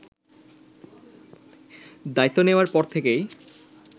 দায়িত্ব নেয়ার পর থেকেই